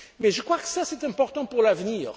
nationaux. Mais je crois que c'est important